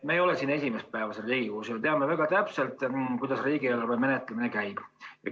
Me ei ole esimest päeva siin Riigikogus ja me teame väga täpselt, kuidas riigieelarve menetlemine käib.